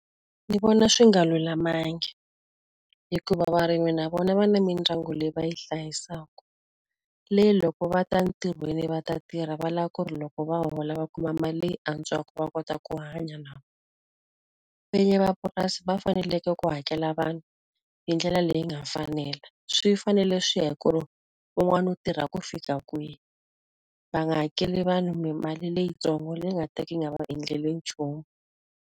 Ndzi vona swi nga lulamangi. Hikuva varimi na vona va na mindyangu leyi va yi hlayisaka, leyi loko va ta entirhweni va ta tirha va lava ku ri loko va hola va kuma mali leyi antswaka va kota ku hanya na vona. Vinyi va purasi va fanekele ku hakela vanhu hi ndlela leyi nga fanela. Swi fanele swi ya hi ku ri wun'wani wu tirha ku fika kwihi, va nga hakeli vanhu mali leyitsongo leyi nga ta ka yi nga va endleli nchumu.